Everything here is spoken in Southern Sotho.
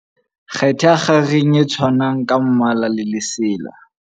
Kgetha kgareng e tshwanang ka mmala le lesela.